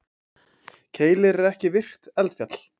Keilir er ekki virkt eldfjall.